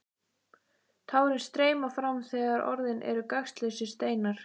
Tárin streyma fram þegar orðin eru gagnslausir steinar.